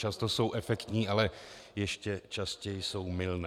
Často jsou efektní, ale ještě častěji jsou mylné.